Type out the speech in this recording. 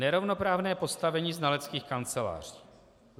Nerovnoprávné postavení znaleckých kanceláří.